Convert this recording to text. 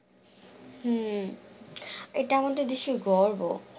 হম এটা আমাদের দেশের গর্ব